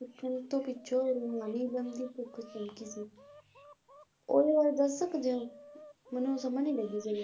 ਪੁੱਛਣ ਤੋਂ ਪਿੱਛੋਂ ਰੂਹਾਨੀ ਇਲਮ ਦੀ ਭੁੱਖ ਚਮਕੀ ਸੀ ਉਹਦੇ ਬਾਰੇ ਦੱਸ ਸਕਦੇ ਹੋ ਮੈਨੂੰ ਸਮਝ ਨਹੀਂ ਲੱਗੀ ਕਿਵੇਂ ਕਿਹੜੇ ਵਾਲਾ